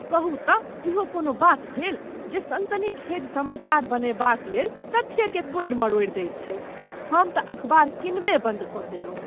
कहू तँ इहो कोनो बात भेल जे सनसनीखेज समाचार बनयबाक लेल तथ्यकेँ तोड़ि मरोड़ि दैत छैक, हमतँ अखबार कीनबे बन्द कऽ देलहुँ।